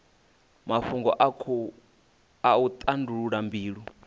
mafhungo a u tandulula mbilo